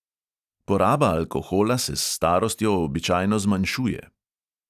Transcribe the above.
Poraba alkohola se s starostjo običajno zmanjšuje.